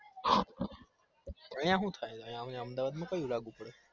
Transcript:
અહિયાં હું થાય અમદાવાદ માં કયું લાગુ પડ